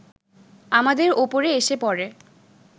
আমাদের ওপরে এসে পড়ে